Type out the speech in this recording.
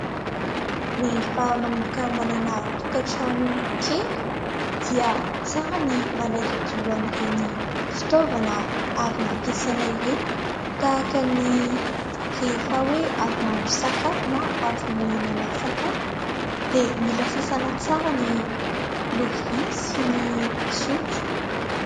Rehefa manomboka manana tokantrano kely dia tsara ny manadiodio an'ireny fitaovana avy nampiasaina ireny, tahaka ny rehefa hoe avy mahandro sakafo na avy mihinana sakafo dia mila sasana tsara ny lovia sy ny sotro.